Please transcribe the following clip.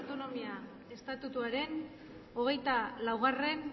lehen idazkariak gernikako autonomia estatutuaren hogeita laugarrena